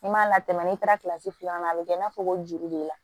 N'i m'a latɛmɛ n'i taara kilasi filanan na a bɛ kɛ i n'a fɔ ko joli b'i la